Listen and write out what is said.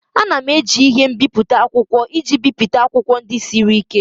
A na-eji ihe mbipụta akwụkwọ iji bipụta akwụkwọ ndị siri ike